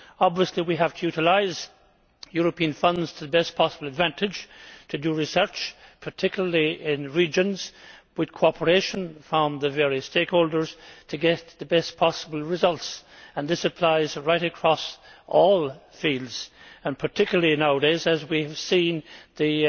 Obviously we have to utilise European funds to the best possible advantage to do research particularly in regions with cooperation from the various stakeholders to get the best possible results. This applies right across all fields, and particularly so nowadays, as we have seen the